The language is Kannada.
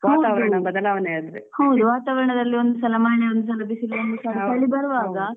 ಹೌದು ವಾತಾವರಣದಲ್ಲಿ ಒಂದ್ಸಲ ಮಳೆ ಒಂದ್ಸಲ ಬಿಸಿಲು ಚಳಿ ಚಳಿ ಬರುವಾಗ